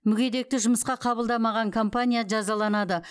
мүгедекті жұмысқа қабылдамаған компания жазаланады